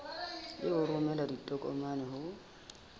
le ho romela ditokomane ho